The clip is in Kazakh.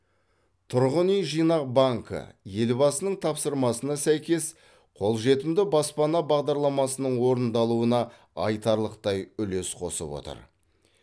тұрғын үй жинақ банкі елбасының тапсырмасына сәйкес қолжетімді баспана бағдарламасының орындалуына айтарлықтай үлес қосып отыр